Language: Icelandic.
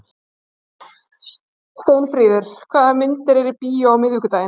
Steinfríður, hvaða myndir eru í bíó á miðvikudaginn?